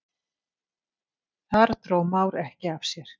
Þar dró Már ekki af sér.